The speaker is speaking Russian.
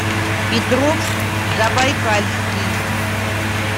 петровск забайкальский